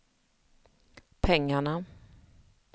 pengarna